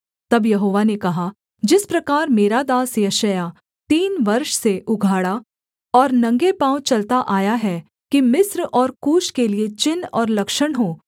तब यहोवा ने कहा जिस प्रकार मेरा दास यशायाह तीन वर्ष से उघाड़ा और नंगे पाँव चलता आया है कि मिस्र और कूश के लिये चिन्ह और लक्षण हो